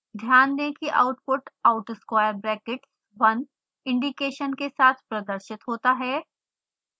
ध्यान दें कि output out square brackets 1 indication के साथ प्रदर्शित होता है